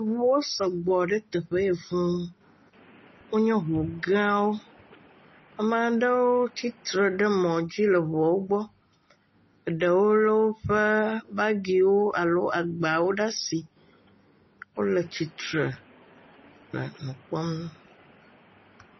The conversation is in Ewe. Ŋuwo sɔgbɔ ɖe teƒe ye fũu, wonye ŋu gãwo, ame aɖewo tsitre ɖe mɔdzi le ŋua gbɔ, eɖewo lé woƒe agbawo alo bagi ɖe asi wole tsitre le nu kpɔm.